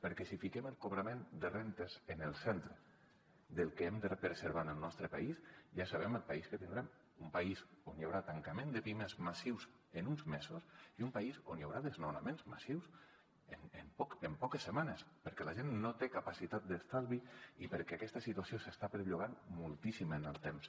perquè si fiquem el cobrament de rendes en el centre del que hem de preservar en el nostre país ja sabem el país que tindrem un país on hi haurà tancament de pimes massius en uns mesos i un país on hi haurà desnonaments massius en poques setmanes perquè la gent no té capacitat d’estalvi i perquè aquesta situació s’està perllongant moltíssim en el temps